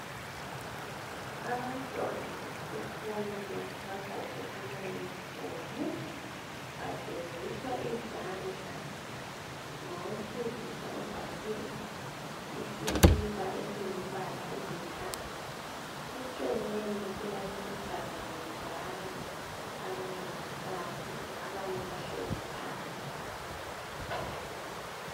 Abantwana besikolo bagqoke amayunifomu bageziswa izandla ngowesilisa ogqoke isikipa esingumbala olithanga eceleni kulabesifazane njalo abancedisayo abanye bahlezi phansi.